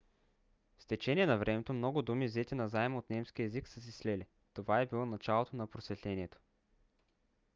с течение на времето много думи взети назаем от немския език са се слели. това е било началото на просветлението